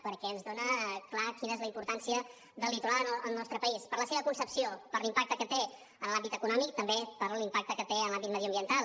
perquè ens dona clarament quina és la importància del litoral al nostre país per la seva concepció per l’impacte que té en l’àmbit econòmic també per l’impacte que té en l’àmbit mediambiental